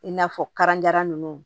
I n'a fɔ karanjara nunnu